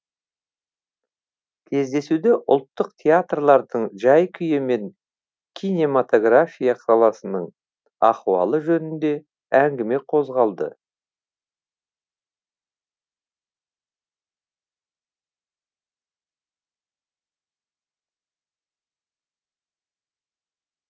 кездесуде ұлттық театрлардың жай күйі мен кинематография саласының ахуалы жөнінде әңгіме қозғалды